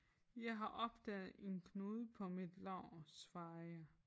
Jeg har opdaget en knude på mit lår svarer jeg